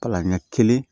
Kala ɲɛ kelen